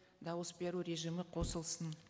дауыс беру режимі қосылсын